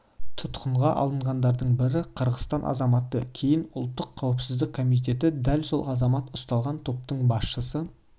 тұтқынға алынғандардың бірі қырғызстан азаматы кейін ұлттық қауіпсіздік комитеті дәл сол азамат ұсталған топтың басшысы